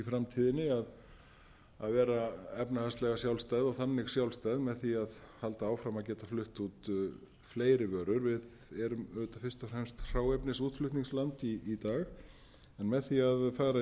framtíðinni að vera efnahagslega sjálfstæð og þannig sjálfstæð með því að halda áfram að geta flutt út fleiri vörur við erum auðvitað fyrst og fremst hráefnisútflutningsland í dag en með því að fara inn og